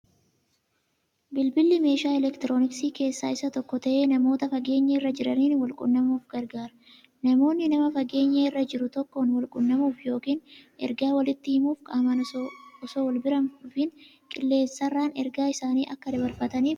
Bilbilli meeshaa elektirooniksii keessaa isa tokko ta'ee, namoota fageenya irra jiraaniin walqunnamuuf gargaara. Namoonni nama fageenya irra jiruu tokkoon walqunnamuuf yookiin ergaa waliiti himuuf qaamaan osoo walbira hindhufin qilleensarraan ergaa isaanii akka dabarfataniif gargaara